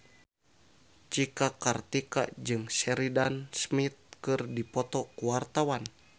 Cika Kartika jeung Sheridan Smith keur dipoto ku wartawan